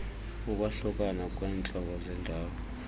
ukwahlukana kweentlobo zendalo